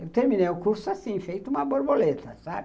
Eu terminei o curso assim, feito uma borboleta, sabe.